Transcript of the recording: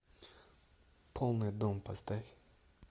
полный дом поставь